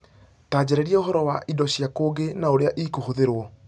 Ta njarĩrie ũhoro wa indo cia kũngĩ na ũrĩa ikũhũthĩrũo